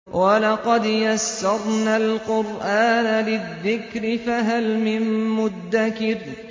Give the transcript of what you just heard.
وَلَقَدْ يَسَّرْنَا الْقُرْآنَ لِلذِّكْرِ فَهَلْ مِن مُّدَّكِرٍ